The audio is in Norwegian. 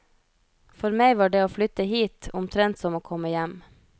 For meg var det å flytte hit, omtrent som å komme hjem.